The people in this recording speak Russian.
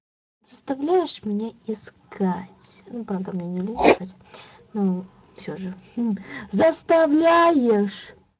заставляешь меня искать ну правда мне не лень искать ну всё же заставляешь